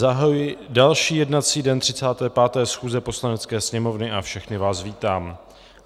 Zahajuji další jednací den 35. schůze Poslanecké sněmovny a všechny vás vítám.